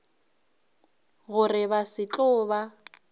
gore ba se tlo ba